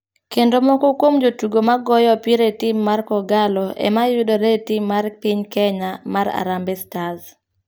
Kendo moko kuom jotugo ma goyo opira e tim ar kogallo ema yudore e tim mar piny kenya mar Harambee stars.